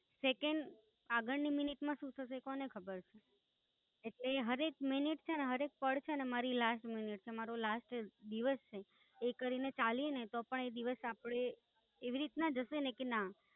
Second આગળની minute માં શું થશે એ કોને ખબર છે? એટલે હાર એક મિનિટ છેને હર એક પળ છેને મારી Last મિનિટ છે મારુ Last દિવસ છે, એ કરીને ચાલીએ ને તો પણ એ દિવસ આપનો એવી રીતે જશે ને કે ના.